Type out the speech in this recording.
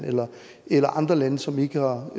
eller andre lande som ikke har